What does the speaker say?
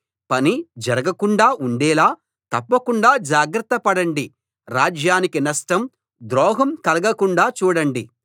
పని జరగకుండా ఉండేలా తప్పకుండా జాగ్రత్త పడండి రాజ్యానికి నష్టం ద్రోహం కలగకుండా చూడండి